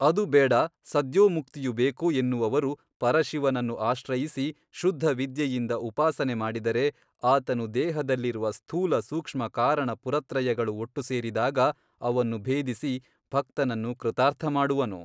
ಅದು ಬೇಡ ಸದ್ಯೋಮುಕ್ತಿಯು ಬೇಕು ಎನ್ನುವವರು ಪರಶಿವವನ್ನು ಆಶ್ರಯಿಸಿ ಶುದ್ಧವಿದ್ಯೆಯಿಂದ ಉಪಾಸನೆ ಮಾಡಿದರೆ ಆತನು ದೇಹದಲ್ಲಿರುವ ಸ್ಥೂಲಸೂಕ್ಷ್ಮ ಕಾರಣ ಪುರತ್ರಯಗಳು ಒಟ್ಟು ಸೇರಿದಾಗ ಅವನ್ನು ಭೇದಿಸಿ ಭಕ್ತನನ್ನು ಕೃತಾರ್ಥಮಾಡುವನು.